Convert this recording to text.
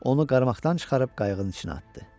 Onu qarmaqdan çıxarıb qayığın içinə atdı.